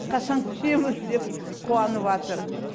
қашан көшеміз деп қуаныватыр